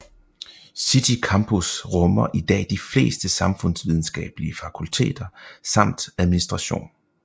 City Campus rummer i dag de fleste samfundsvidenskabelige fakulteter samt administratition